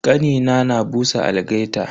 Kanina na busa algaita.